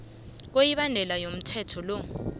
kwemibandela yomthetho lo